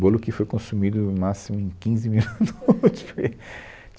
Bolo que foi consumido, em no máximo, em quinze minutos